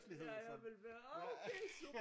Ja ja men hver åh okay super